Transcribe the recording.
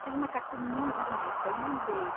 Fiz uma carta muito bonita e mandei.